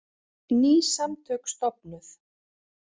Ný samtök stofnuð